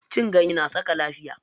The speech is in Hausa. Cin ganye na saka lafiya.